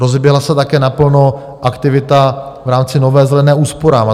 Rozeběhla se také naplno aktivita v rámci Nové zelené úsporám.